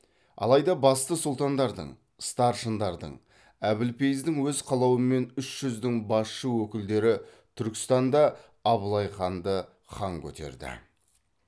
алайда басты сұлтандардың старшындардың әбілпейіздің өз қалауымен үш жүздің басшы өкілдері түркістанда абылайханды хан көтерді